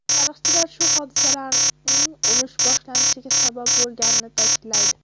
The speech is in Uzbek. Tarixchilar shu hodisalarning urush boshlanishiga sabab bo‘lganini ta’kidlaydi.